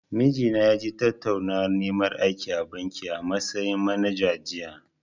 Mijina ya je tattaunawar neman aiki a banki, a matsayin manager, jiya.